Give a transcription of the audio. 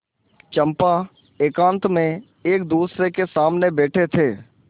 चंपा एकांत में एकदूसरे के सामने बैठे थे